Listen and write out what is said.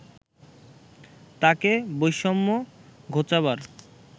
তাকে বৈষম্য ঘোচাবার